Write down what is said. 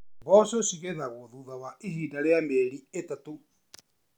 Mboco ci gethagwo thutha wa ihinda rīa mĩeri ĩtatũ.